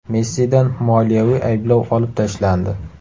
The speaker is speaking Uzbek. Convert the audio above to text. Messidan moliyaviy ayblov olib tashlandi.